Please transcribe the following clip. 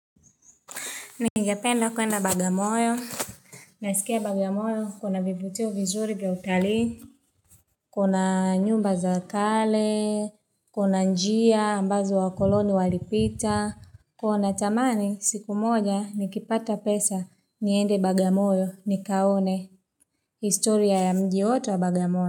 Ningependa kwenda Bagamoyo. Nasikia bagamoyo kuna vivutio vizuri vya utalii. Kuna nyumba za kale, kuna njia, ambazo wa koloni walipita. Huwa natamani, siku moja nikipata pesa, niende bagamoyo nikaone, historia ya mji wote wa bagamoyo.